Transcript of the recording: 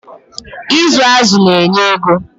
Ịzụ azụ na-enye ego.